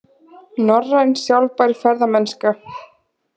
Norræn sjálfbær ferðamennska